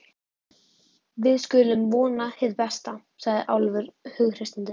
Við skulum vona hið besta, sagði Álfur hughreystandi.